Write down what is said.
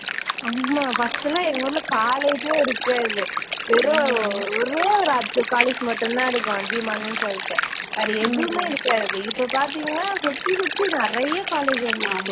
ஆமா first எல்லாம் எங்க ஊர்ல college ஏ இருக்காது வெறும் ஒரேயொரு college மட்டும் தான் இருக்கும், அதியமானுன்னு சொல்லிட்டு, வேற எதுவுமே இருக்காது. இப்போ பார்த்தீங்கன்னா சுத்தி, சுத்தி நிறைய college வந்திடுச்சு